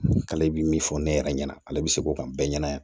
K'ale bi min fɔ ne yɛrɛ ɲɛna ale bɛ se k'o kan bɛɛ ɲɛna